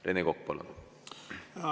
Rene Kokk, palun!